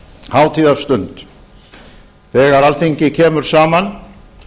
hátíðarstund þegar alþingi kemur saman